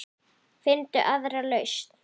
Finndu aðra lausn.